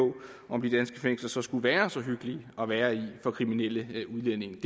om de danske fængsler så skulle være så hyggelige at være i for kriminelle udlændinge det